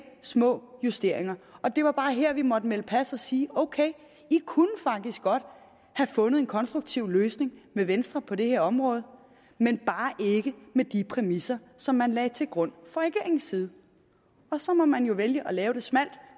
små justeringer det var bare her vi måtte melde pas og sige ok i kunne faktisk godt have fundet en konstruktiv løsning med venstre på det her område men bare ikke med de præmisser som man lagde til grund fra regeringens side så må man jo vælge at lave det smalt